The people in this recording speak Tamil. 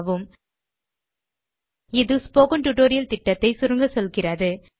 httpspoken tutorialorgWhat is a spoken tutorial இது ஸ்போக்கன் டியூட்டோரியல் புரொஜெக்ட் ஐ சுருக்கமாக சொல்லுகிறது